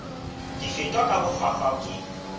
di fetwa ka bohlwahlwa ke